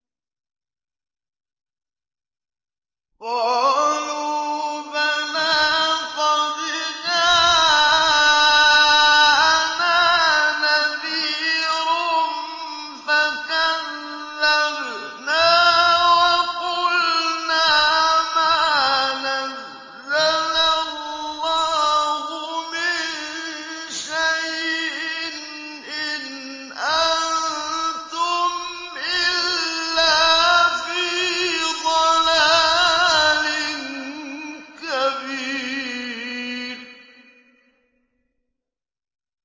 قَالُوا بَلَىٰ قَدْ جَاءَنَا نَذِيرٌ فَكَذَّبْنَا وَقُلْنَا مَا نَزَّلَ اللَّهُ مِن شَيْءٍ إِنْ أَنتُمْ إِلَّا فِي ضَلَالٍ كَبِيرٍ